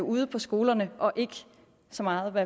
ude på skolerne og ikke så meget ved